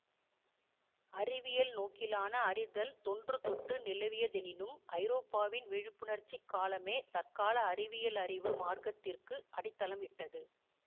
அறிவியல் நோக்கிலான அறிதல் தொன்று தொட்டு நிலவியதெனினும் ஐரோப்பாவின் விழிப்புணர்ச்சிக் காலமே தற்கால அறிவியல் அறிவு மார்க்கத்திற்கு அடித்தளம் இட்டது